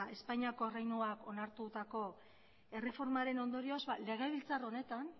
espainiako erreinuak onartutako erreformaren ondorioz legebiltzar honetan